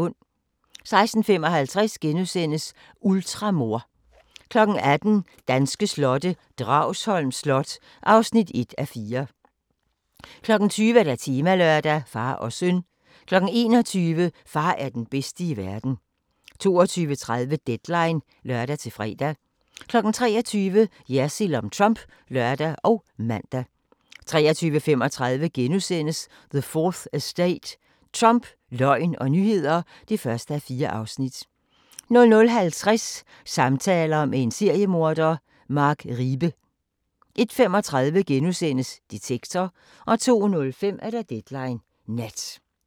16:55: Ultramor * 18:00: Danske slotte: Dragsholm Slot (1:4) 20:00: Temalørdag: Far og søn 21:00: Far er den bedste i verden 22:30: Deadline (lør-fre) 23:00: Jersild om Trump (lør og man) 23:35: The 4th Estate – Trump, løgn og nyheder (1:4)* 00:50: Samtaler med en seriemorder – Mark Riebe 01:35: Detektor * 02:05: Deadline Nat